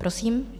Prosím.